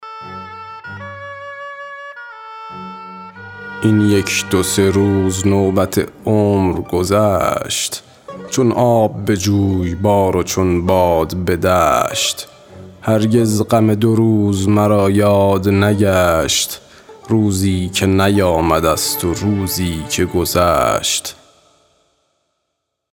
این یک دو سه روز نوبت عمر گذشت چون آب به جویبار و چون باد به دشت هرگز غم دو روز مرا یاد نگشت روزی که نیامده ست و روزی که گذشت